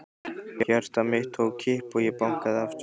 Hjarta mitt tók kipp og ég bankaði aftur.